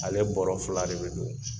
Ale bɔra fila de bɛ don